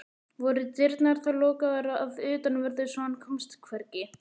Voru dyrnar þá lokaðar að utanverðu svo hann komst hvergi.